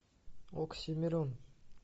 оксимирон